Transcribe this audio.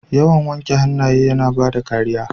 Yawan wanke hannaye yana bada kariya.